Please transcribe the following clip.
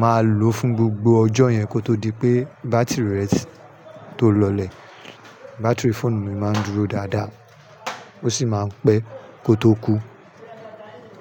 máa lòó fún gbogbo ọjọ́ yẹn kó tó di pé bátìrì rẹ tó lọlẹ̀. Bátìrì fóònù mi máa ń dúró dáadáa, ó sì máa ń pẹ́ kó tó kú.